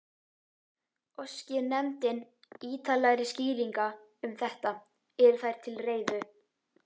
Óski nefndin ýtarlegri skýringa um þetta, eru þær til reiðu.